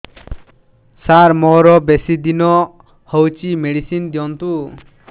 ସାର ମୋରୋ ବେସି ନିଦ ହଉଚି ମେଡିସିନ ଦିଅନ୍ତୁ